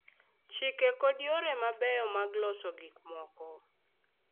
Chike kod yore mabeyo mag loso gikmoko,